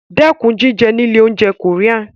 Dẹ́kun jíjẹ ní ilé-oúnjẹ Korean.